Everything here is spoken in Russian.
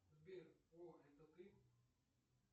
сбер вор это ты